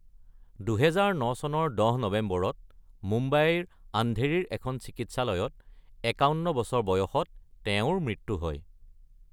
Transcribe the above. ২০০৯ চনৰ ১০ নৱেম্বৰত মুম্বাইৰ আন্ধেৰীৰ এখন চিকিৎসালয়ত ৫১ বছৰ বয়সত তেওঁৰ মৃত্যু হয়।